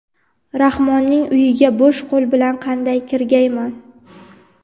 Rahmonning uyiga bo‘sh qo‘l bilan qanday kirgayman?!.